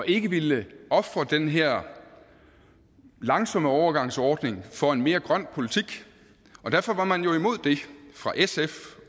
ikke ville ofre den her langsomme overgangsordning for en mere grøn politik derfor var man jo imod det fra sf